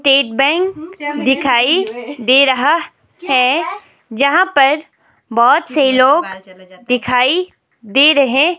state bank दिखाई दे रहा है जहां पर बहोत से लोग दिखाई दे रहे--